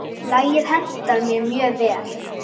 Lagið hentar mér mjög vel.